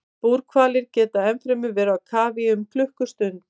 Búrhvalir geta ennfremur verið í kafi í um klukkustund.